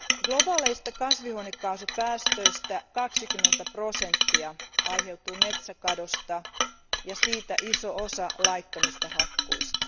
Globaaleista kasvihuonekaasupäästöistä 20 prosenttia aiheutuu metsäkadosta ja siitä iso osa laittomista hakkuista.